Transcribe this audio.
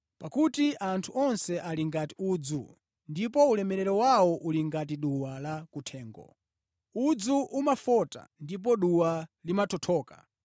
Pakuti, “Anthu onse ali ngati udzu, ndipo ulemerero wawo uli ngati duwa la kuthengo. Udzu umafota ndipo duwa limathothoka,